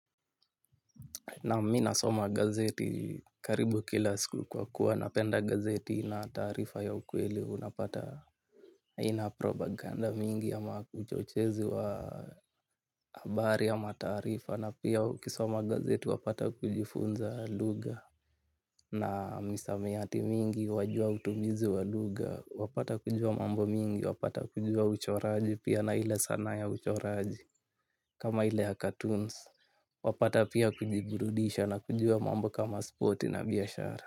Naam mi nasoma gazeti karibu kila siku kwa kuwa napenda gazeti na taarifa ya ukweli unapata ina propaganda mingi ama uchochezi wa habari ya matarifa na pia ukisoma gazeti wapata kujifunza lugha na misamiati mingi wajua utumizi wa lugha wapata kujua mambo mingi wapata kujua uchoraji pia na ile sanaa ya uchoraji kama ile ya cartoons wapata pia kujiburudisha na kujua mambo kama sporti na biashara.